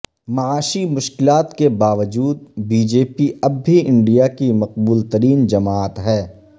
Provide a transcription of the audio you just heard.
معاشی مشکلات کے باوجود بی جے پی اب بھی انڈیا کی مقبول ترین جماعت ہے